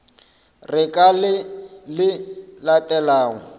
re ka le le latelago